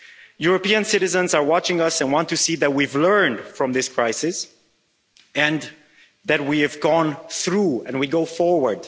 European citizens are watching us and want to see that we've learned from this crisis, that we have gone through it and are going forward.